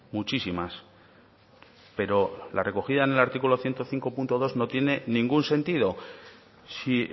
muchísimas pero la recogida en el artículo ciento cinco punto dos no tiene ningún sentido si